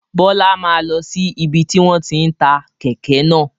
Bọlá máa lọ sí ibi tí wọn tí ń ta kèké náà